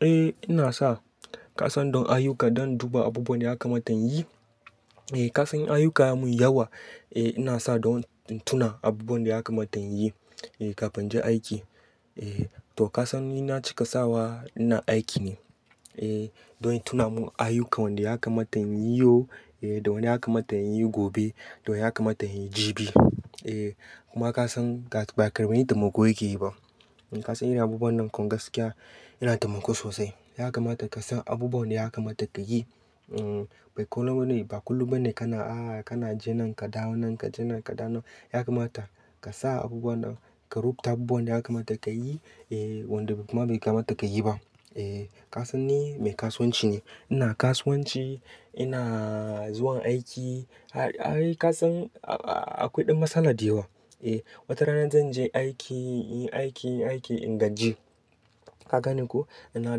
Eh ina sa kasan don ayuka don duba abubuwan da aka mata yin. Eh kasan ayyukan mu yawa, eh ina sa don in tuna abubuwan daya kamata inyin, eh kafin je aiki. Eh to kasan ni na cika sawa ina aiki ne, eh don in tuna mun ayuka wanda ya kamata in yi yau, eh da wanda ya kamata in yi gobe, don ya kamata in yi jibi. Eh kuma kasan ba ƙarin ba ne tamiko yake yi ba. Kasan ina abubuwan nan kom gaskiya yana tamiko sosai. Ya kamata ka san abubuwan da ya kamata ka yi. Ba kullum ba ne kana, ah kana je nan ka dawo nan, ka je nan ka dawo nan. Ya kamata ka sa abubuwan nan, ka rubuta abubuwan da ya kamata ka yi, eh wanda kuma bai kamata ka yi ba. Eh kasan ni mai kasuwanci ne. Ina kasuwanci, ina zuwa aiki. Ai kasan akwai ɗan matsala da yawa. Eh watarana zan je aiki, aiki, aiki in gajie. Ka gane ko? Ina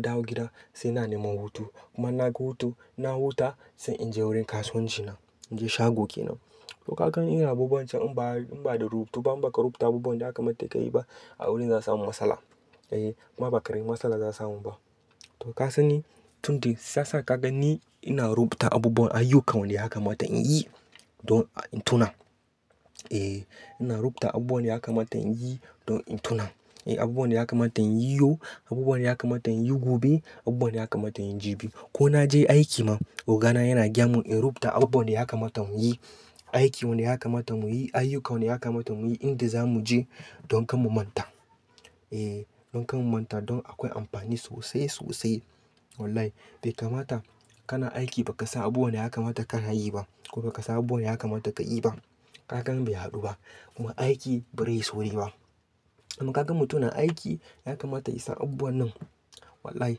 dawo gida sai ina nema hutu. Kuma naga hutu, na huta sai in je wurin kasuwancina, na je shagoke nan. To kakan ina abubuwan can in ba, in ba da rubutu ba, in ba ka rubuta abubuwan da ya kamata ka yi ba a wurin za samu matsala. Eh kuma ba ƙarin matsala za samu ba. To kasan ni tun da safe ka gani ina rubuta abubuwan ayyukan wanda ya kamata in yi don in tuna. Eh ina rubuta abubuwan da ya kamata in yi don in tuna. Eh abubuwan da ya kamata in yi yau, abubuwan da ya kamata in yi gobe, abubuwan da ya kamata in yi jibi. Ko na je aiki ma, ogana yana gya mun in rubuta abubuwan da ya kamata mu yi. Aiki wanda ya kamata mu yi, ayyuka wanda ya kamata mu yi inda za mu je don kan mu manta. Eh don kan mu manta don akwai amfani sosai, sosai. Wallahi bai kamata kana aiki ba ka san abubuwan da ya kamata kana yi ba. Ko ba ka san abubuwan da ya kamata ka yi ba. Hakan bai haɗu ba kuma aiki bai rayu sauri ba. Kuma ka gan mutumin aiki ya kamata ya san abubuwan nan. Wallahi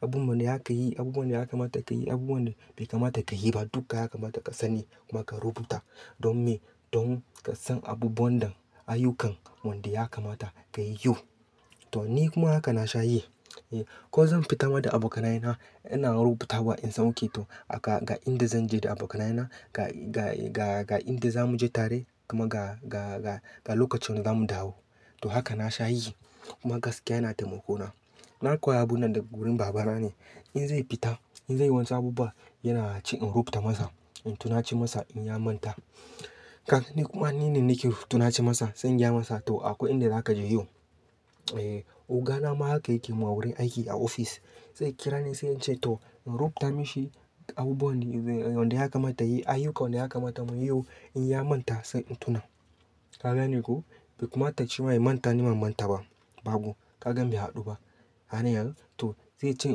abubuwan da ya ka yi, abubuwan da ya kamata ka yi, abubuwan da bai kamata ka yi ba duka ya kamata ka sani kuma ka rubuta don me, don ka san abubuwan nan, ayyukan wanda ya kamata ka yi yau. To ni kuma haka na sha yi. Eh ko zan fita ma da abokanayena ina rubutawa in sauke to aka ga inda zan je da abokanayena, ga, ga, ga, ga inda za mu je tare kuma ga, ga, ga, ga lokacin za mu dawo. To haka na sha yi kuma gaskiya yana tamiko na. Na koyar abun nan daga wurin babana ne. In zai fita, in zai yi wani saboba yana ci in rubuta masa, in tuna ci masa in ya manta. Ka gani ko? Ni kuma ni ne nake rubuta na ci masa, sai in gaya masa to akwai inda za ka je yau. Eh ogana ma haka yake yi ma wurin aiki a ofis. Zai kira ni sai in ce to in rubuta mishi abubuwan wanda ya kamata yi, ayyuka wanda ya kamata mu yi yau in ya manta sai in tuna. Ka gani ko? Bai kamata cewa in manta nima manta ba, ba ko. Hakan bai haɗu ba. Hanyar to zai ce in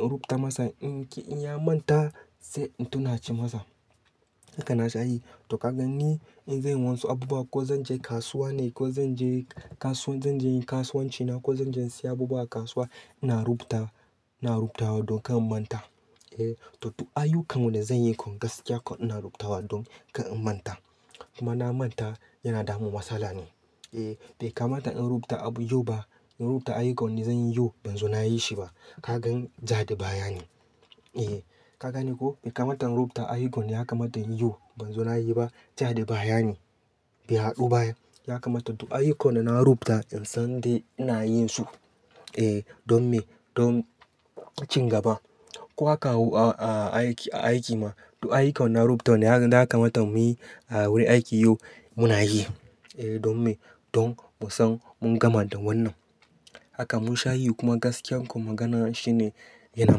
rubuta masa in ya manta sai in tuna ci masa. Haka na sha yi. To ka gani in zai yi wani abubuwa ko zan je kasuwa ne ko zan je kasuwa, zan je kasuwancina ko zan je in sayi abubuwa a kasuwa ina rubuta, ina rubutawa don kan manta. Eh to duk ayyukan wanda zan yi kom gaskiya ina rubutawa don kan manta. Kuma na manta yana damu matsala ne. Eh bai kamata in rubuta abu yau ba, in rubuta ayyukan wanda zan yi yau ban zo na yi shi ba. Ka gan ja da baya ne. Eh ka gani ko? Bai kamata in rubuta ayyukan da ya kamata in yi yau ban zo na yi ba ja da baya ne. Bai haɗu ba ai. Ya kamata to ayyukan da na rubuta in san da ina yin su. Eh don me, don cin gaba. Ko aka hau a, aiki, a aiki ma to ayyukan na rubuta wanda ya kamata mu yi a wurin aiki yau mu na yi. Eh don me, don mu san mun gama da wannan. Haka mun sha yi kuma gaskiyan kom magana shine yana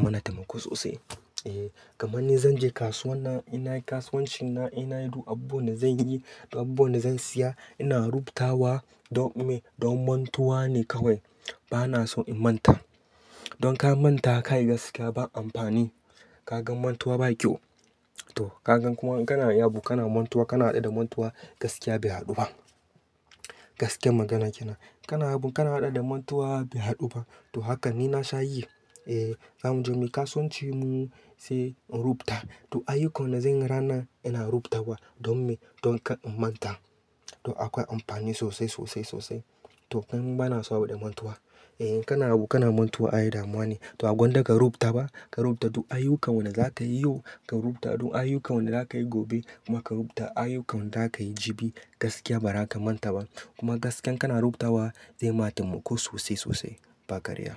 mana taimako sosai. Eh gama ni zan je kasuwa na, ina kasuwancina ina haɗu abubuwan da zan yi da abubuwan da zan siya ina rubutawa don me, don mantuwa ne kawai. Ba na so in manta. Don ka manta ka yi gaskiya ba amfani. Ka gan mantuwa ba kyau. To ka gan kuma kana abu kana mantuwa kana haɗa da mantuwa gaskiya bai haɗu ba. Gaskiyan magana kenan. Kana abu kana haɗa da mantuwa bai haɗu ba. To haka ni na sha yi. Eh za mu je mu kasuwanci mu sai in rubuta. To ayyukan da zan yi rana ina rubutawa don me, don kan manta. To akwai amfani sosai, sosai, sosai. To dan ba na so abu da mantuwa. Eh kana abu kana mantuwa ai damuwa ne. To abunda ka rubuta ba, ka rubuta to ayyukan wanda za ka yi yau ka rubuta don ayyukan wanda za ka yi gobe kuma ka rubuta ayyukan za ka yi jibi gaskiya ba za ka manta ba. Kuma gaskiyan kana rubutawa zai ma taimako sosai sosai ba karya.